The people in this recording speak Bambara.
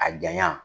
A janya